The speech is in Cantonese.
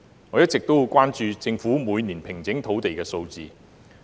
我一直十分關注政府平整土地的年度數字。